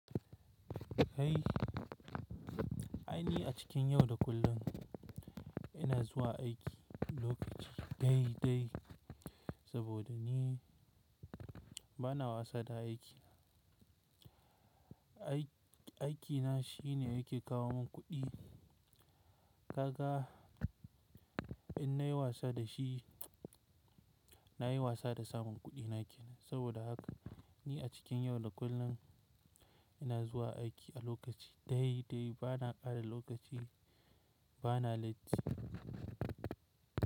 Kai, ai ni a cikin yau da kullum ina zuwa aiki lokaci dai dai saboda ni bana wasa da aiki. Aiki na shine yake kawo mun kuɗi. Kaga in nayi wasa da shi, nayi wasa da samun kuɗina ke nan. Saboda haka ni a cikin yau da kullum ina zuwa aiki a lokaci dai dai bana ƙara lokaci bana latti.